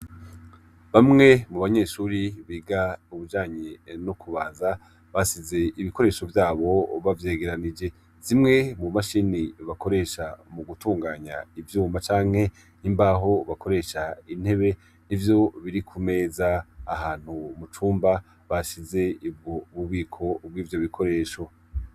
Bamwe mu banyeshuri biga ubujanyi no kubaza basize ibikoresho vyabo bavyegeranije zimwe mu mashini bakoresha mu gutunganya ivyuma canke n'imbaho bakoresha intebe ni vyo biri ku meza ahantu mu cumba bashize ibwo bubi iko ubwo ivyo bikoresho.